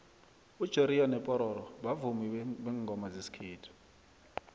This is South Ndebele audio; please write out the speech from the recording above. ujoriyo nopororo bavumi bengoma zesikhethu